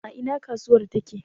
A ina kasuwar take?